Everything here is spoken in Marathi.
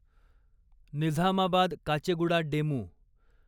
निझामाबाद काचेगुडा डेमू